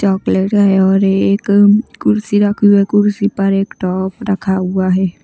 Chocolate है और एक कुर्सी रखी हुई है कुर्सी पर एक टॉप रखा हुआ है।